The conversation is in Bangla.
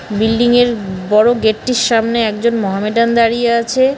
বিল্ডিংয়ের বড়ো গেটটির সামনে একজন মহামেডান দাঁড়িয়ে আছে।